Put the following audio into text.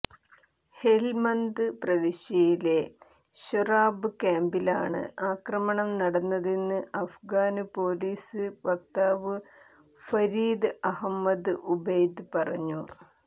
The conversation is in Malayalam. ഹെല്മന്ദ് പ്രവിശ്യയിലെ ശോറാബ് ക്യാമ്പിലാണ് ആക്രമണം നടന്നതെന്ന് അഫ്ഗാന് പോലീസ് വക്താവ് ഫരീദ് അഹ്മദ് ഉബൈദ് പറഞ്ഞു